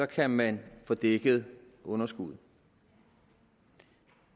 kan man få dækket underskuddet